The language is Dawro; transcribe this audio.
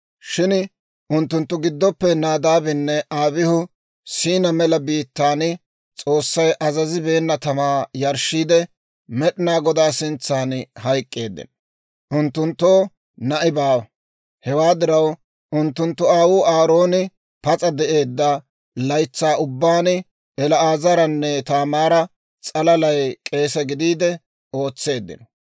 Shin unttunttu giddoppe Naadaabinne Abihu Siinaa mela biittaan S'oossay azazibeena tamaa yarshshiide, Med'inaa Godaa sintsan hayk'k'eeddino; unttunttoo na'i baawa. Hewaa diraw, unttunttu aawuu Aarooni pas'a de'eedda laytsaa ubbaan El"aazaranne Itaamaara s'alalay k'eese gidiide ootseeddino.